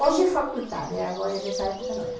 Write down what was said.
Hoje é faculdade, agora nessa época não era.